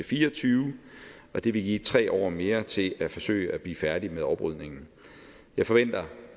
fire og tyve og det vil give tre år mere til at forsøge at blive færdige med oprydningen jeg forventer